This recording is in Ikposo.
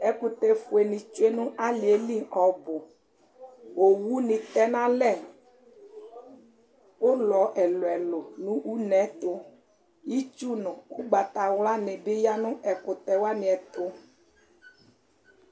ɛkutɛ fue nitsue nu ali yɛ li ɔbu owu ni tɛ nalɛ ulɔ ɛlu ɛlu nɛtu itsu ugbata ɣla di yanu ɛkutɛ wani ɛtu